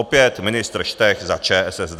Opět ministr Štech za ČSSD.